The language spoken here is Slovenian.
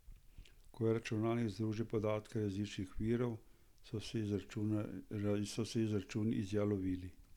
Ko je računalnik združil podatke različnih virov, so se izračuni izjalovili.